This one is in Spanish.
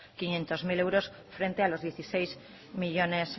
quinientos mil euros frente a los dieciséis millónes